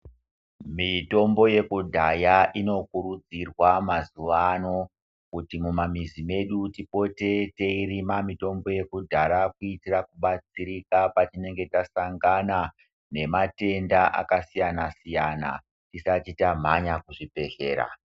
Mitombo yeku dhaya ino kurudzirwa mazuva ano kuti muma mizi medu tipote teerima mitombo yekudhara kuitira kubatsirika patinenge tasangana nema tenda aka siyana siyana tisati tamhanya kuzvi bhehlera.